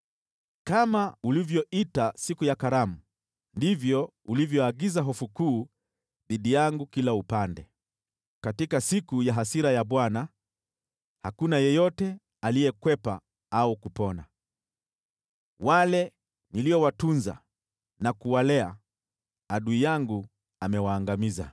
“Kama ulivyoita siku ya karamu, ndivyo ulivyoagiza hofu kuu dhidi yangu kila upande. Katika siku ya hasira ya Bwana hakuna yeyote aliyekwepa au kupona; wale niliowatunza na kuwalea, adui yangu amewaangamiza.”